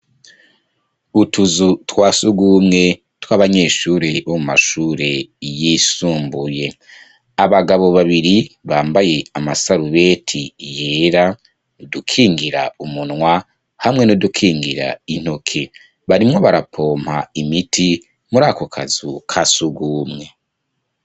Utuzu twa surwumwe tw' abanyeshure bo mu mashure yisumbuye. Abagabo babiri bambaye amasarubeti yera, udukingira umunwa, hamwe n' udukingira intoke. Barimwo barapoma imiti, muri ako kazu ka surwumwe.